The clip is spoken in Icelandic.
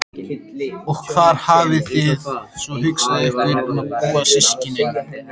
Og hvar hafið þið svo hugsað ykkur að búa systkinin?